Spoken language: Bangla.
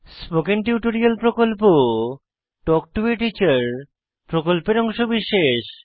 spoken tutorial talk to a teacher প্রকল্পের অংশবিশেষ